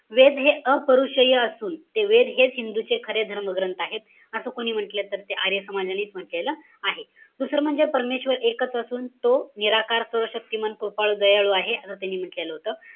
वेद हे अपरूषीय असून, ते वेद हेच हिंदूंचे खरे धर्मग्रंथ आहेत. असं कोणी म्हण्टलंय? तर ते आर्य समाजानेच म्हण्टलेलं आहे. दुसरं म्हणजे परमेश्वर एकच असून तो निराकार, सर्वशक्तिमान, कृपाळू, दयाळू आहे. असं त्यांनी म्हण्टलेलं होतं.